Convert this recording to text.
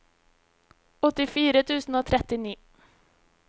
åttifire tusen og trettini